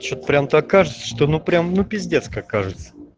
что прям так кажется что ну прям ну пиздец как кажется